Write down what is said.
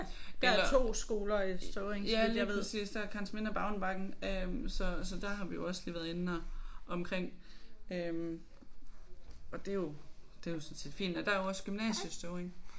Eller. Ja lige præcis der er Karensminde og Bavnebakken øh så så der har vi jo også lige været inde og omkring øh og det er jo det er jo sådan set fint og der er også gymnasie i Støvring